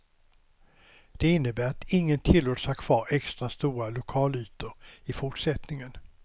Det innebär att ingen tillåts ha kvar extra stora lokalytor i fortsättningen.